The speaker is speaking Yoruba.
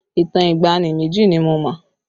Ìtàn ìgbàanì méjì ni mo mọ̀